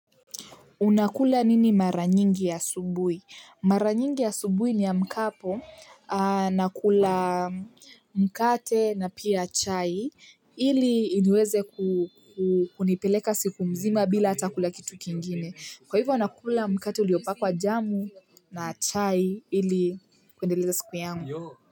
Unakula nini mara nyingi asubuhi? Mara nyingi asubuhi niamkapo, nakula mkate na pia chai, ili iniweze kunipeleka siku mzima bila ata kula kitu kingine. Kwa hivyo nakula mkate uliopakwa jamu na chai ili kuendeleza siku yangu.